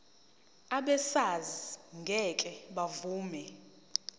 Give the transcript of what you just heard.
abesars ngeke bavuma